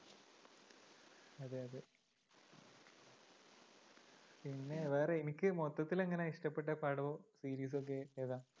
പിന്നെ വേറെ എനിക്ക് മൊത്തത്തിൽ അങ്ങിനെ ഇഷ്ടപ്പെട്ട പടവും series ഉം ഒക്കെ ഇതാ.